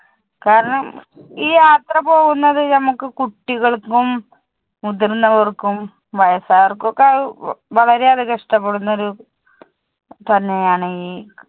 കാരണം ഈ യാത്ര പോകുന്നത് നമുക്ക് കുട്ടികൾക്കും, മുതിർന്നവർക്കും, വയസായവർക്കും ഒക്കെ ആഹ് വളരെ അധികം ഇഷ്ടപ്പെടുന്നത് തന്നെ ആണ് ഈ